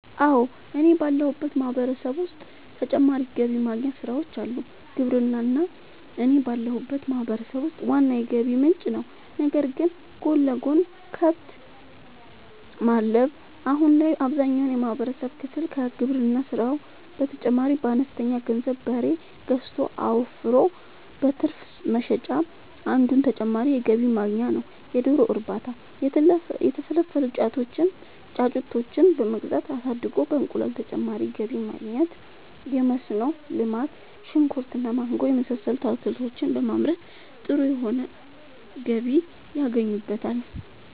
አወ እኔ ባለሁበት ማህበረሰብ ዉስጥ ተጨማሪ ገቢ ማግኛ ስራወች አሉ። ግብርና እኔ ባለሁበት ማህበረሰብ ውስጥ ዋና የገቢ ምንጭ ነዉ ነገር ግን ጎን ለጎን :- ከብት ማድለብ :- አሁን ላይ አብዛኛውን የማህበረሰብ ክፍል ከግብርና ስራው በተጨማሪ በአነስተኛ ገንዘብ በሬ ገዝቶ አወፍሮ በትርፍ መሸጥ አንዱ ተጨማሪ የገቢ ማግኛ ነዉ የዶሮ እርባታ:- የተፈለፈሉ ጫጩቶችን በመግዛት አሳድጎ በእንቁላል ተጨማሪ ገቢ ማግኘት የመስኖ ልማት :-ሽንኩርት እና ማንጎ የመሳሰሉት አትክልቶችን በማምረት ጥሩ የሆነ ገቢ ያገኙበታል